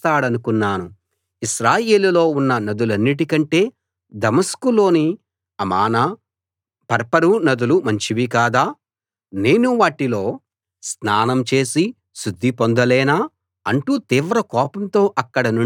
ఇశ్రాయేలులో ఉన్న నదులన్నిటి కంటే దమస్కులోని అమానా ఫర్పరు నదులు మంచివి కాదా నేను వాటిలో స్నానం చేసి శుద్ధి పొందలేనా అంటూ తీవ్ర కోపంతో అక్కడినుండి వెళ్ళిపోయాడు